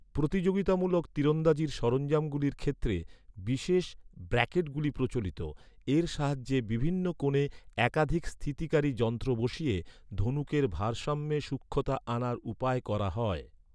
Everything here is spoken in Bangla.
প্রতিযোগিতামূলক তীরন্দাজির সরঞ্জামগুলির ক্ষেত্রে, বিশেষ ব্র্যাকেটগুলি প্রচলিত। এর সাহায্যে বিভিন্ন কোণে একাধিক স্থিতিকারী যন্ত্র বসিয়ে ধনুকের ভারসাম্যে সূক্ষ্মতা আনার উপায় করা হয় ।